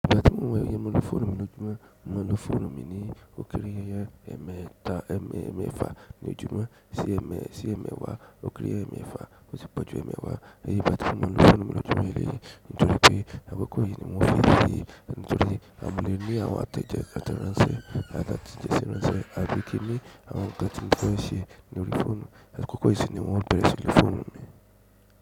Ìgbà tí mo iye mo ló fún mi lójúmọ́, mọ́ ló fóònù mi ní ókéré yanyan ẹmẹta, ẹmẹ ẹmẹfa ní ojúmọ́ sí ẹmẹ sí ẹmẹwà, ókéré ẹmẹfa kò sí pọ̀jù ẹmẹwà, èyí bẹ́ẹ̀ tí mọ́ ló fún mi lójúmọ́ eléyìí nítorí pé àkókò yìí ni wọ́n fi èyí nítorí a mú le ní àwọn àtẹ̀jẹ àtẹ̀ránsẹ́ àti jẹ́sì ránṣẹ́, a rí pé kí ní àwọn nǹkan tí mọ́ fún ẹ ṣe ni orí fóònù, àkókò yìí sì ni wọ́n bẹ̀rẹ̀ sí ló fún mi.